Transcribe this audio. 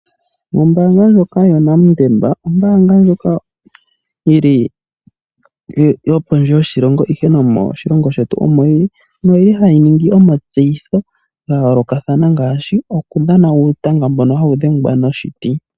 Ombanga ndjoka yoNedbank Ombanga ndjoka yili yo pondje yoshilongo ihe nomo shilongo shetu omo yili. No yili hayi ningi omatseyitho ga yoolokathana ngaashi oku dha uutanga mbono hawu dhengwa noshiti.